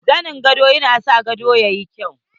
Zanen gado yana sa gado tayi kyau.